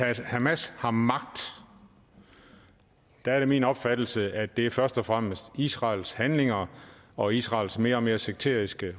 at hamas har magt er det min opfattelse at det er først og fremmest er israels handlinger og israels mere og mere sekteriske